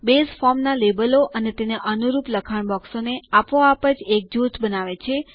base ફોર્મમાં લેબલો અને તેને અનુરૂપ લખાણબોક્સ ને આપોઅપ જ એક જૂથ બનાવે છે